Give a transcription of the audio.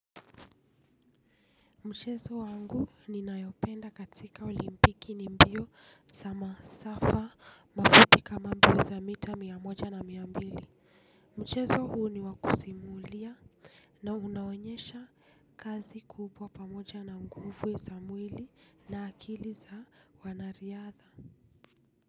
Mchezo wangu ninayopenda katika olimpiki ni mbio za masafa mafupi kama mbio za mita mia moja na mia mbili. Mchezo huu ni wakusimulia na unaonyesha kazi kubwa pamoja na nguvu za mwili na akili za wanariadha.